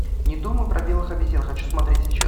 не думай про белых обезьян хочу смотреть сейчас